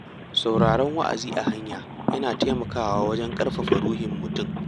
Sauraron wa’azi a hanya yana taimakawa wajen ƙarfafa ruhin mutum.